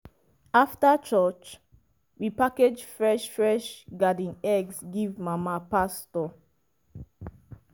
after church we package fresh fresh garden eggs give mama pastor.